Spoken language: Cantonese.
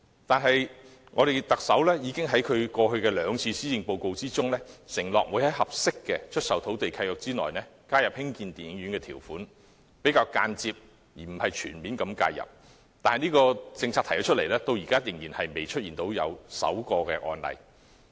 但是，特首在其過去兩份施政報告中承諾，會在合適的出售土地契約內加入興建電影院的條款，以較間接而非全面的方式介入；但這項政策提出後，至今仍未出現首宗案例。